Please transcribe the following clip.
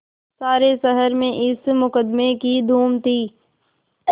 सारे शहर में इस मुकदमें की धूम थी